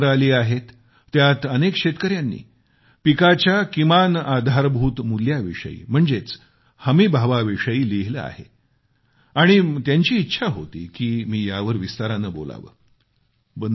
मला जी पत्र आली आहेत त्यात अनेक शेतकऱ्यांनी पिकाच्या किमान आधारभूत मूल्याविषयी म्हणजेच हमीभावाविषयी लिहिलं आहे आणि त्यांची इच्छा होती की मी यावर विस्ताराने बोलावं